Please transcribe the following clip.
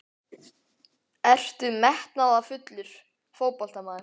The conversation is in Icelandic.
Ertu metnaðarfullur fótboltamaður?